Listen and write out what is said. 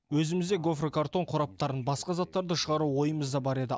өзімізде гофрокартон қораптарын басқа заттарды шығару ойымызда бар еді